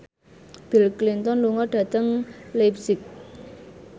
Bill Clinton lunga dhateng leipzig